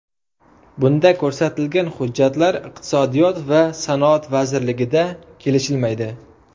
Bunda ko‘rsatilgan hujjatlar Iqtisodiyot va sanoat vazirligida kelishilmaydi.